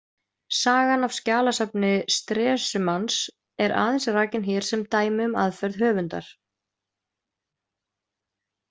Sagan af skjalasafni Stresemanns er aðeins rakin hér sem dæmi um aðferð höfundar.